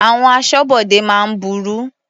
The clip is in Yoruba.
Àwọn aṣọ́bodè máa ń burú.